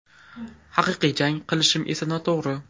Haqiqiy jang qilishim esa noto‘g‘ri.